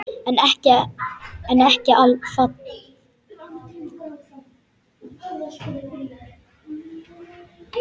En ekki falleg.